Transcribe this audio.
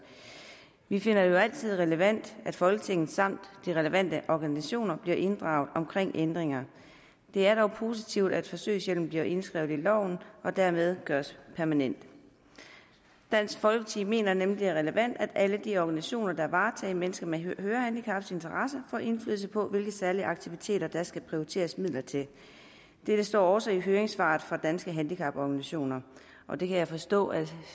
vi finder det jo altid relevant at folketinget samt de relevante organisationer bliver inddraget omkring ændringer det er dog positivt at forsøgshjælpen bliver indskrevet i loven og dermed gøres permanent dansk folkeparti mener nemlig at det er relevant at alle de organisationer der varetager mennesker med hørehandicap får indflydelse på hvilke særlige aktiviteter der skal prioriteres midler til dette står også i høringssvaret fra danske handicaporganisationer og det kan jeg forstå at